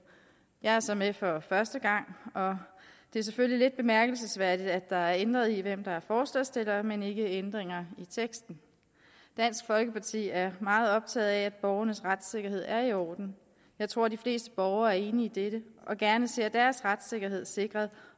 jeg er så med for første gang og det er selvfølgelig lidt bemærkelsesværdigt at der er ændret i hvem der er forslagsstiller men ikke ændringer i teksten dansk folkeparti er meget optaget af at borgernes retssikkerhed er i orden jeg tror de fleste borgere er enige i dette og gerne ser deres retssikkerhed sikret